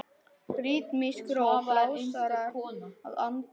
Ritmísk ró blásara að handan.